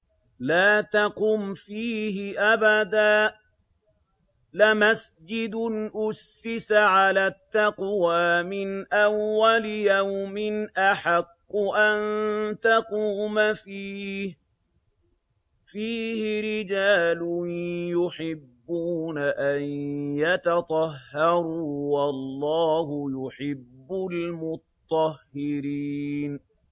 لَا تَقُمْ فِيهِ أَبَدًا ۚ لَّمَسْجِدٌ أُسِّسَ عَلَى التَّقْوَىٰ مِنْ أَوَّلِ يَوْمٍ أَحَقُّ أَن تَقُومَ فِيهِ ۚ فِيهِ رِجَالٌ يُحِبُّونَ أَن يَتَطَهَّرُوا ۚ وَاللَّهُ يُحِبُّ الْمُطَّهِّرِينَ